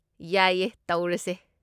ꯌꯥꯏꯌꯦ, ꯇꯧꯔꯁꯦ꯫